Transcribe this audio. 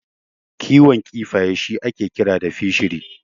Kiwon kifaye shi ake kira da Fishery.